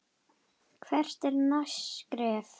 Hvert er næsta skref?